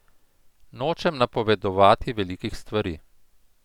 Nočem napovedovati velikih stvari.